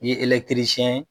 I ye ye